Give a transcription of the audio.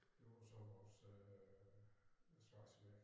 Det var så vores øh svejseværk